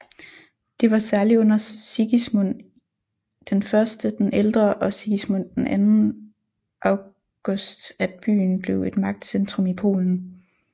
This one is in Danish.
Det var særlig under Sigismund I den ældre og Sigismund II August at byen blev et magtcentrum i Polen